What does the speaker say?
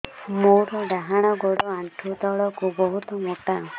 ମୋର ଡାହାଣ ଗୋଡ ଆଣ୍ଠୁ ତଳୁକୁ ବହୁତ ମୋଟା